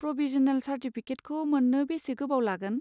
Provisional चार्टिफिकेटखौ मोन्नो बेसे गोबाव लागोन?